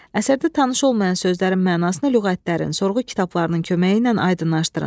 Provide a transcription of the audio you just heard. Əsərdə tanış olmayan sözlərin mənasını lüğətlərin, sorğu kitablarının köməyi ilə aydınlaşdırın.